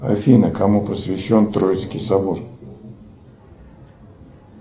афина кому посвящен троицкий собор